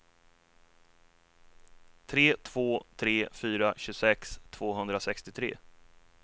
tre två tre fyra tjugosex tvåhundrasextiotre